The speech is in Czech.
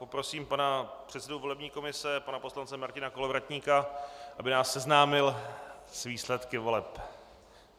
Poprosím pana předsedu volební komise pana poslance Martina Kolovratníka, aby nás seznámil s výsledky voleb.